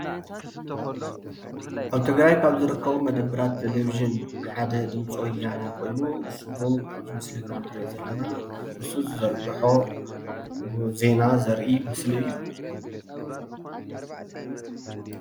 ኣብ ትግራይ ካብ ዝርከቡ መደብራት ቴለቪዥን ሓደ ድምፂ ወያነ ኮይኑ፣ ንሱውን ኣብዚ ምስሊ እንሪኦ ዘለና ንሱ ዝዘርግሖ ብዜና ዘርኢ ምስሊ እዩ፡፡